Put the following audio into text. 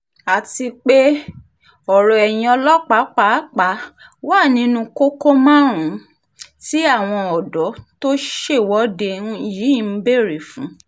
àti pé ọ̀rọ̀ ẹ̀yìn ọlọ́pàá pàápàá wà nínú kókó márùn-ún tí àwọn ọ̀dọ́ tó ṣèwọ́de yìí ń béèrè fún